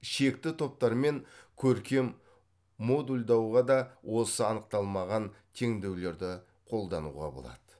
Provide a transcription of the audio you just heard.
шекті топтар мен көркем модульдауға да осы анықталмаған теңдеулерді қолдануға болады